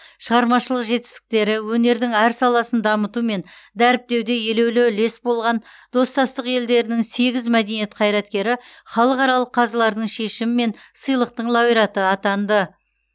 шығармашылық жетістіктері өнердің әр саласын дамыту мен дәріптеуде елеулі үлес болған достастық елдерінің сегіз мәдениет қайраткері халықаралық қазылардың шешімімен сыйлықтың лауреаты атанды